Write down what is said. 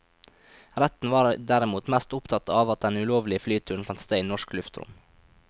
Retten var derimot mest opptatt av at den ulovlige flyturen fant sted i norsk luftrom.